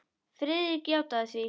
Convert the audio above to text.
Friðrik játaði því.